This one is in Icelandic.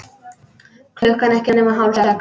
Klukkan ekki nema hálf sex.